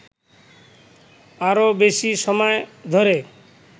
আরো বেশি সময় ধরে